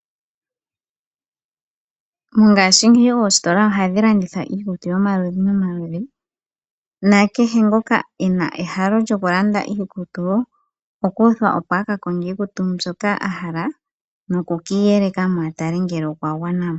Mongashingeyi oositola ohadhi landitha iikutu yomaludhi nomaludhi. Nakehe ngoka ena ehalo lyokulanda iikutu wo oku uthwa opo a kakonge iikutu mbyoka a hala noku kiiyeleka a tale ngele okwa gwana mo.